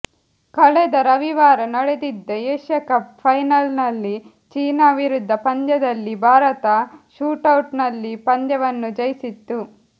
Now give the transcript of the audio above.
ಕಳೆದ ರವಿವಾರ ನಡೆದಿದ್ದ ಏಷ್ಯಕಪ್ ಫೈನಲ್ನಲ್ಲಿ ಚೀನಾ ವಿರುದ್ಧ ಪಂದ್ಯದಲ್ಲಿ ಭಾರತ ಶೂಟೌಟ್ನಲ್ಲಿ ಪಂದ್ಯವನ್ನು ಜಯಿಸಿತ್ತು